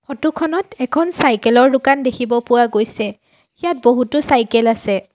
Photo খনত এখন cycle ৰ দোকান দেখিব পোৱা গৈছে ইয়াত বহুতো চাইকেল আছে।